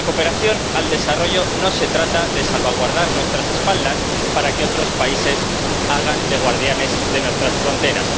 La cooperación al desarrollo no consiste en salvaguardar nuestras espaldas para que otros países hagan de guardianes de nuestras fronteras